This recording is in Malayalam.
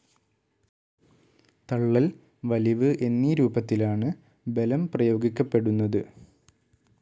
തള്ളൽ, വലിവ് എന്നീരൂപത്തിലാണ് ബലംപ്രയോഗിക്കപ്പെടുന്നത്.